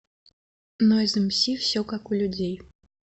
нойз эмси все как у людей